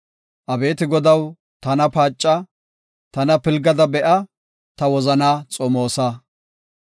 Abeeti Godaw, tana paaca; tana pilgada be7a; ta wozanaa xomoosa.